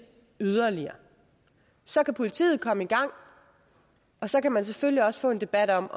yderligere så kan politiet komme i gang og så kan man selvfølgelig også få en debat om